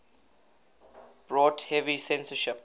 brought heavy censorship